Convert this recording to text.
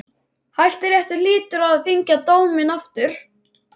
Hæstiréttur hlýtur að þyngja dóminn aftur.